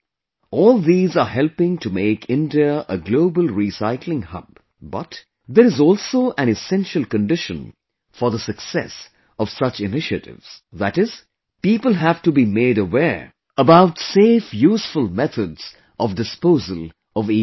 All these are helping to make India a Global Recycling Hub; but, there is also an essential condition for the success of such Initiatives that is, people have to be made aware about safe useful methods of disposal of EWaste